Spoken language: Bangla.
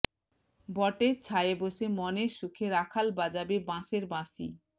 বটের ছায়ে বসে মনের সুখে রাখাল বাজাবে বাশের বাঁশি